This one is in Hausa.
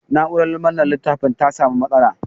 Na'urar manne littafin ta sa mu matsala.